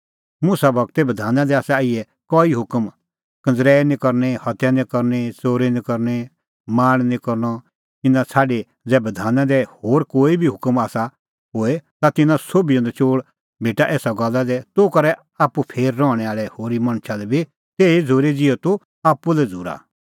मुसा गूरे बधाना दी आसा इहै कई हुकम कंज़रैई निं करनी हत्या निं करनी च़ोरी निं करनी लाल़च़ निं करनअ इना छ़ाडी ज़ै बधाना दी कोई होर बी हुकम आसा होए ता तिन्नां सोभिओ नचोल़ भेटा एसा गल्ला दी तूह करै आप्पू फेर रहणैं आल़ै होरी मणछा लै बी तेही झ़ूरी ज़िहअ तूह आप्पू लै झ़ूरा